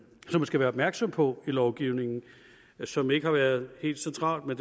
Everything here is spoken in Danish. skal være opmærksom på i lovgivningen og som ikke har været helt central men